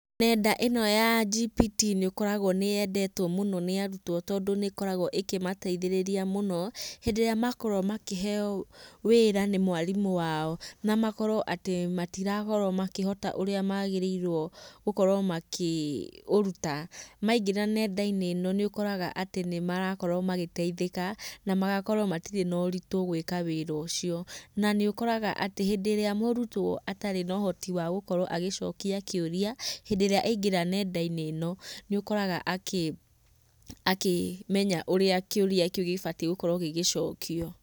Nenda ĩno ya GPT nĩkoragwo nĩyendetwo mũno nĩ arutwo tondũ nĩkoragwo ĩkĩmateithĩrĩria mũno, hĩndĩ ĩrĩa makorwo makĩheyo wĩra nĩ mwarimũ wao na makorwo atĩ matirakorwo makĩhota ũrĩa magĩrĩirwo gũkorwo makĩũruta. Maingĩra nendainĩ ĩno nĩũkoraga atĩ nĩmarakorwo magĩteithĩka na magakorwo matirĩ na ũritũ gwĩka wĩra ũcio. Na nĩũkoraga atĩ hĩndĩ ĩrĩa mũrutwo atarĩ na ũhoti wa gũkorwo agĩcokia kĩũrĩa, hĩndĩ ĩrĩa aingĩra nendainĩ ĩno nĩũkoraga akĩmenya ũrĩa kĩũrĩa kĩu gĩbatie gũkorwo gĩgĩcokio.